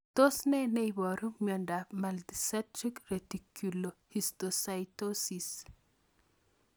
Tos ne neiparu miondop Multicentric reticulohistiocytosis?